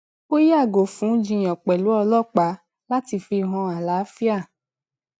ó yàgò fún jiyàn pèlú ọlọpàá láti fi hàn àlàáfíà